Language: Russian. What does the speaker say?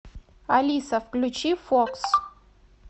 алиса включи фокс